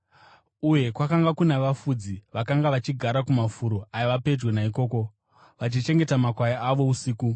Uye kwakanga kuna vafudzi vakanga vachigara kumafuro aiva pedyo naikoko, vachichengeta makwai avo usiku.